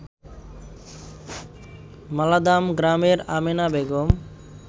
মালাদাম গ্রামের আমেনা বেগম